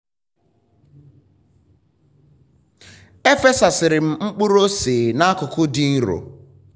m fesasịrị mkpụrụ ose na akụkụ dị nro.